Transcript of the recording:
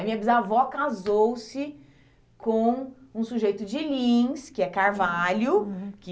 A minha bisavó casou-se com um sujeito de Lins, que é carvalho, uhum, que...